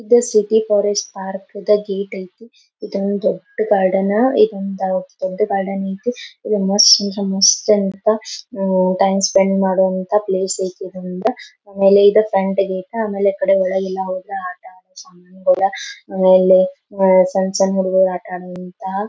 ಇದು city forest park ಅದ್ gate ಐತಿ ಇದೊಂದ್ ದೊಡ್ಡ ಗಾರ್ಡನ್ ಇದೊಂದ್ ದೊಡ್ಡ ಗಾರ್ಡನ್ ಐತಿ ಅಂತ ಉಹ್ ಟೈಮ್ ಸ್ಪೆಂಡ್ ಮಾಡುವಂತಹ ಪ್ಲೇಸ್ ಐತಿ ಇರೋದ್ರಿಂದ ಆಮೇಲೆ ಆಮೇಲೆ ಒಳಗೆಲ್ಲಾ ಹೋದ್ರೆ ಆಟ ಆಡೋ ಸಾಮಾನ್ ಎಲ್ಲಾ ಆಮೇಲೆ ಓಲೆ ಓ ಸಣ್ಣ ಸಣ್ಣ ಹುಡುಗ್ರು ಆಟ ಆಡುವಂತಹ--